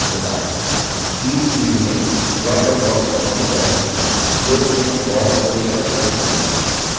speed field में dropdown box पर click करें slow चुनें और ok पर click करें